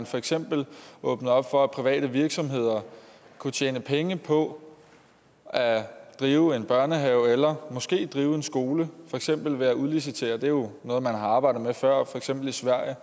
for eksempel åbne op for at private virksomheder kunne tjene penge på at drive en børnehave eller måske drive en skole for eksempel ved at udlicitere det er jo noget man har arbejdet med før for eksempel i sverige